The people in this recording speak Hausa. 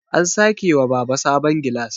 an sake wa Baba sabon gilas